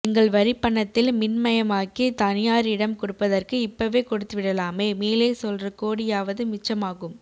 எங்கள் வரி பணத்தில் மின்மயமாக்கி தனியாரிடம் கொடுப்பதற்கு இப்பவே கொடுத்துவிடலாமே மேலே சொல்ற கோடி யாவது மிச்சம் ஆகும்